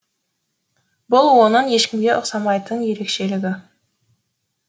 бұл оның ешкімге ұқсамайтын ерекшелігі